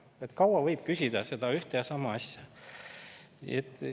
Kui kaua võib küsida seda ühte ja sama asja?!